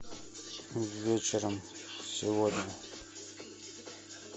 вечером сегодня